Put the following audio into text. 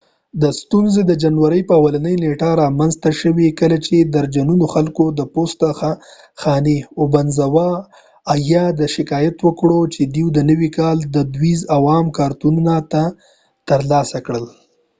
ستونزه د جنوری په اوله نیټه را منځ ته شوه کله چی درجنونو خلکو د اوبنزاوه یا obanzawa پوسته خانی ته شکایت وکړ چی دوی د نوی کال دودیز او عام کارتونه نه دی تر لاسه کړی